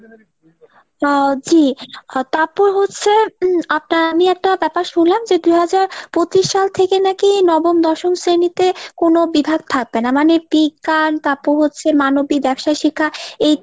আহ জি। তাপ্পর হচ্ছে আপনার আমি একটা ব্যাপার শুনলাম যে দুই হাজার পঁচিশ সাল থেকে নাকি নবম দশম শ্রেণীতে কোনো বিভাগ থাকবে না। মানে বিজ্ঞান তাপ্পর হচ্ছে মানবী ব্যবসায়ী শিক্ষা এই